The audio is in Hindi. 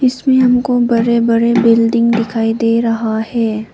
इसमें हमको बड़े बड़े बिल्डिंग दिखाई दे रहा है।